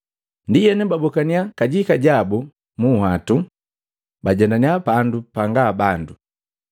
Ndienu babokannya kajika jabu munhwatu, bajendannya pandu panga bandu.